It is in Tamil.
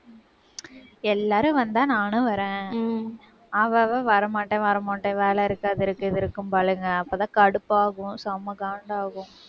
எல்லாரும் வந்தா, நானும் வர்றேன். அவ அவ வர மாட்டேன், வர மாட்டேன். வேலை இருக்கு அது இருக்கு இது இருக்கும்பாலுங்க. அப்பதான் கடுப்பாகும் செம காண்டாகும்.